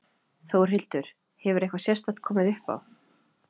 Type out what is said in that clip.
Þórhildur: Hefur eitthvað sérstakt komið upp á?